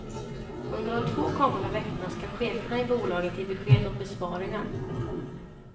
Under de två kommande veckorna ska cheferna i bolaget ge besked om besparingar.